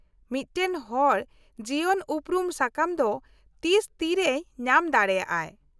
-ᱢᱤᱫᱴᱟᱝ ᱦᱚᱲ ᱡᱤᱵᱚᱱ ᱩᱯᱨᱩᱢ ᱥᱟᱠᱟᱢ ᱫᱚ ᱛᱤᱥ ᱛᱤᱨᱮᱭ ᱧᱟᱢ ᱫᱟᱲᱮᱭᱟᱜ ᱟᱭ ?